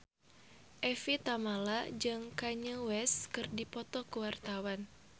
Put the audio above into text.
Evie Tamala jeung Kanye West keur dipoto ku wartawan